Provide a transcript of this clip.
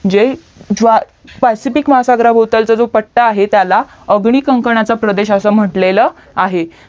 जे ज्या पॅसिफिक महसगरा भौतलचा पट्टा आहे त्याला आधुनिक कांकरणाचा प्रदेश असा म्हंटलेल आहे